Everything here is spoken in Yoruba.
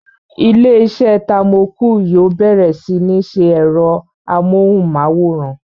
Ilé-iṣẹ́ Thermocool yóò bẹ̀rẹ̀ sí ní ṣe ẹ̀rọ amóhùnmáwòrán